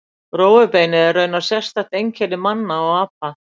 Rófubeinið er raunar sérstakt einkenni manna og apa.